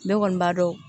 Ne kɔni b'a dɔn